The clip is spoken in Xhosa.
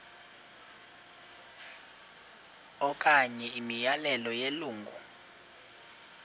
okanye imiyalelo yelungu